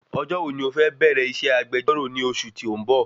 Ọjọ́ wo ni o fẹ bẹ̀rẹ iṣẹ́ agbejọ́rọ̀ ni oṣù tí o nbọ?